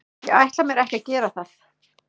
Ég ætla mér ekki að gera það.